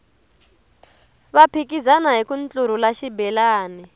va phikizana hiku ntlurhula xibelani